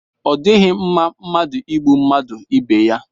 Ọ dịghị mma mmadụ ịgbụ mmadụ ibe yá